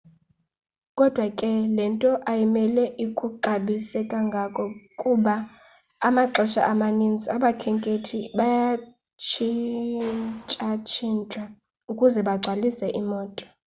kodwa ke le nto ayimele ikuxhalabise kangako kuba amaxesha amaninzi abakhenkethi bayatshintshatshintshwa ukuze bagcwalise iimoto